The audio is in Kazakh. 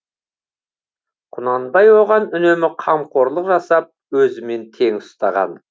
құнанбай оған үнемі қамқорлық жасап өзімен тең ұстаған